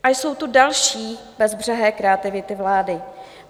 A jsou tu další bezbřehé kreativity vlády.